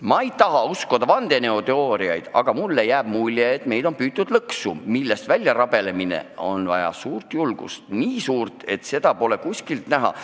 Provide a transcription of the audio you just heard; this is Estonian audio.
Ma ei taha uskuda vandenõuteooriaid, aga mul on mulje, et meid on püütud lõksu, millest väljarabelemiseks on vaja suurt julgust – nii suurt, et seda pole kuskilt näha.